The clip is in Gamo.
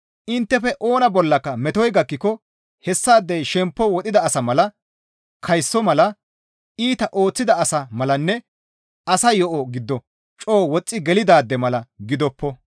Inttefe oona bollaka metoy gakkiko hessaadey shempo wodhida asa mala, kayso mala, iita ooththida asa malanne asa yo7o giddo coo woxxi gelidaade mala gidoppo.